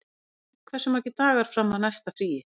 Fregn, hversu margir dagar fram að næsta fríi?